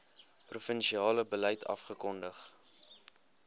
provinsiale beleid afgekondig